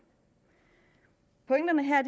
pointerne her